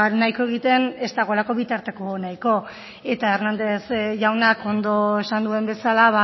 nahiko egiten ez dagoelako bitarteko nahikorik eta hernández jaunak ondo esan duen bezala